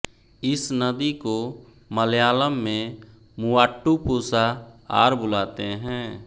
इस नदी को मलयालम में मूवाट्टुपुषा आर बुलाते हैं